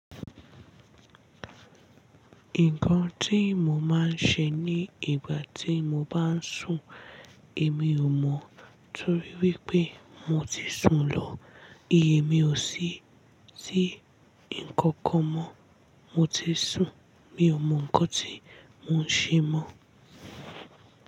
Nǹkan tí mo máa ń ṣe ní ìgbà tí mo bá sùn èmi ò mọ̀ torí wípé mo ti sùn lọ. Iye mi ò sí tí ǹkankan mọ́. Mo ti sùn, mi ò mọ ǹkan tí mo ń ṣe mọ́